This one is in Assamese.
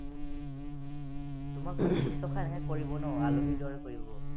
তোমাক শুশ্ৰূষা এনেকে কৰিব ন, আলহীৰ দৰে কৰিব।